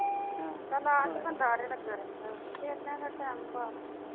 ਚੱਲ ਆ ਕੇ ਬੰਦਾ ਆਰੇ ਲੱਗਾ ਰਹਿੰਦਾ ਇਹਨਾਂ ਦਾ ਟਾਇਮ ਪਾਸ ਨਹੀਂ ਹੁੰਦਾ।